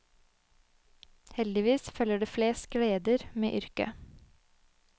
Heldigvis følger det flest gleder med yrket.